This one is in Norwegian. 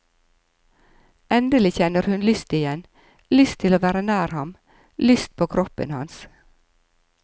Endelig kjenner hun lyst igjen, lyst til å være nær ham, lyst på kroppen hans.